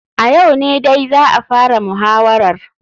A yau ne dai za a fara muhawarar.